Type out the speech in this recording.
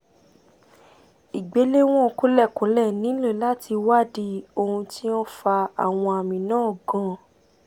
ìgbéléwọ̀n kúlẹ̀kúlẹ̀ nílò láti wádìí ohun tí ó ń fa àwọn àmì náà gan-an